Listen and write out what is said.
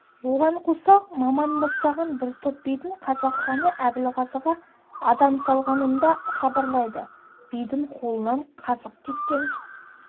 оған қоса маман бастаған бір топ бидің қазақ ханы әбілғазыға адам салғанын да хабарлайды бидің қолынан қазық кеткен